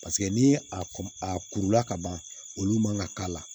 Paseke n'i ye a kurula ka ban olu man kan ka k'a la